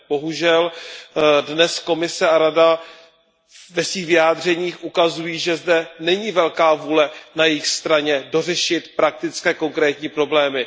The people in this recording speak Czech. Bohužel dnes Komise a Rada ve svých vyjádřeních ukazují, že zde není velká vůle na jejich straně dořešit praktické konkrétní problémy.